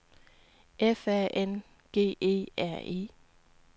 F A N G E R E